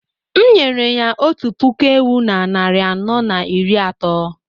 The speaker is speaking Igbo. M’nyere ya otu puku ewu na narị anọ na iri atọ